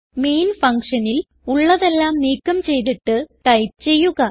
main ഫങ്ഷനിൽ ഉള്ളതെല്ലാം നീക്കം ചെയ്തിട്ട് ടൈപ്പ് ചെയ്യുക